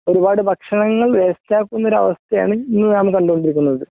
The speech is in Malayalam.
ഒരുപാട് ഭക്ഷണങ്ങൾ വേസ്റ്റ് ആക്കുന്ന ഒരു അവസ്ഥയാണ് ഇന്ന് നാം കണ്ടുകൊണ്ടിരിക്കുന്നത്